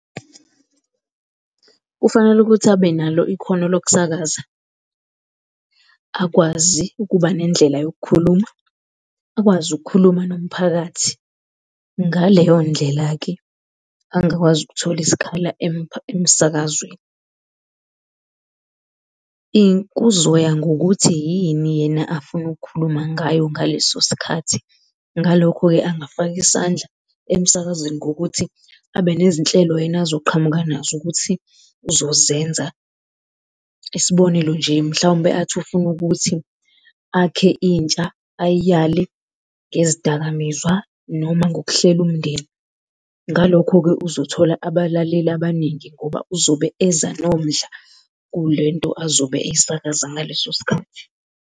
Kufanele ukuthi abe nalo ikhono lokusakaza, akwazi ukuba nendlela yokukhuluma, akwazi ukukhuluma nomphakathi. Ngaleyondlela-ke, angakwazi ukuthola isikhala emsakazweni. Kuzoya ngokuthi yini yena afuna ukukhuluma ngayo ngaleso sikhathi. Ngalokho-ke angafaka isandla emsakazweni ngokuthi abe nezinhlelo yena azoqhamuka nazo ukuthi uzozenza. Isibonelo nje, mhlawumbe athi ufuna ukuthi akhe intsha, ayiyale ngezidakamizwa noma ngokuhlela umndeni. Ngalokho-ke, uzothola abalaleli abaningi ngoba uzobe eza nomdla kule nto azobe eyisakaza ngaleso sikhathi.